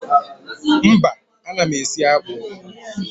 Mba, ana m esi akpụ